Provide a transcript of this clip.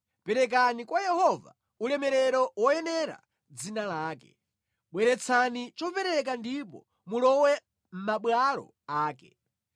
Perekani kwa Yehova ulemerero woyenera dzina lake; bweretsani chopereka ndipo mulowe mʼmabwalo ake.